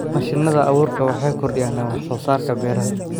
Mashiinada abuurku waxay kordhiyaan wax soo saarka beeraha.